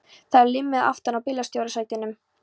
Það er límmiði aftan á bílstjórasætinu.